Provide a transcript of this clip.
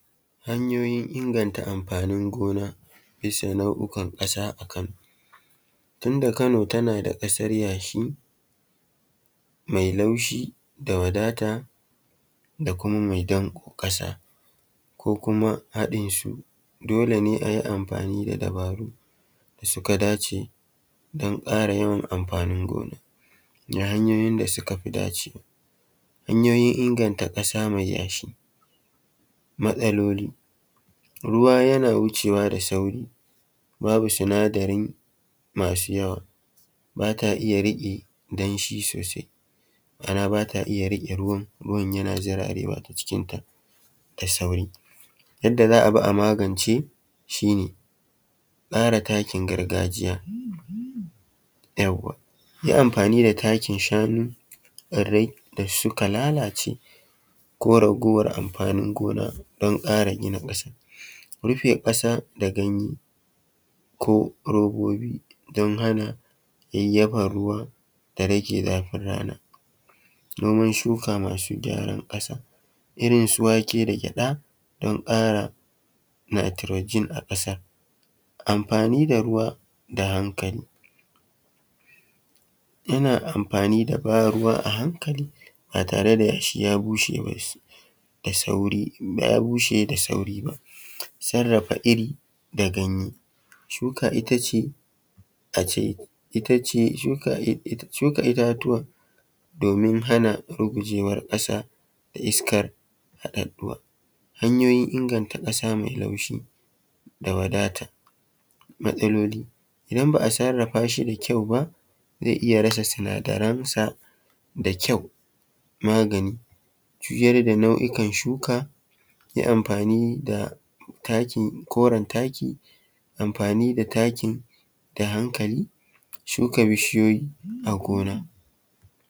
Hanyoyin inganta amfanin gona bisa nau’ukan ƙasa a Kano. Tunda kano tana da ƙasar yashi mai laushi da wadata da kuma mai danƙo ƙasa ko kuma haɗin su dole ne a yi amfani da dabaru da suka dace don ƙara yawan amfanin gona na hanyoyin da suka fi dacewa. Hanyoyin inganta ƙasa mai yashi; matsaloli, ruwa yana wucewa da sauri babu sinadari masu yawa ba ta iya riƙe danshi sosai ma’ana bata iya riƙe ruwan, ruwan yana zirarewa ta cikin ta da sauri. Yadda za a bi a magance shi ne tsara takin gargajiya yawwa, yi amfani da takin shanu, tsirrai da suka lalace ko raguwar amfanin gona don ƙara gina ƙasa, rufe ƙasa da ganye ko robobi don hana yayyafa ruwa da rage zafin rana. Noman shuka masu gyaran ƙasa irin su wake da gyaɗa, don ƙara nitrogen a ƙasa. Amfani da ruwa da hankali, yana amfani da ban ruwa a hankali ba tare da yashi ya bushe ba da sauri ya bushe da sauri ba. Sarrafa iri da ganye; Shuka ita ce, a ce, it ace, shuka ita ce a ce shuka itatuwa domin hana rugujewar ƙasa, iska haɗaɗɗuwa. Hanyoyin inganta ƙasa mai laushi da wadata. Matsaloli; idan ba a sarrafa shi da kyau ba zai iya rasa sinadaran sa da kyau. Magani; juyar da nau’ikan shuka, yi amfani da taki koren taki, amfani da taki da hankali, shuka bishiyoyi a gona.